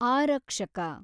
ಆರಕ್ಷಕ